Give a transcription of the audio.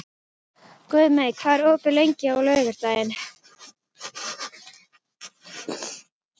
Guðmey, hvað er opið lengi á laugardaginn?